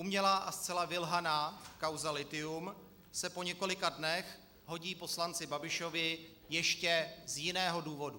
Umělá a zcela vylhaná kauza lithium se po několika dnech hodí poslanci Babišovi ještě z jiného důvodu.